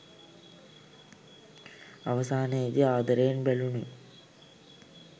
අවසානයේදී ආදරයෙන් බැඳුණු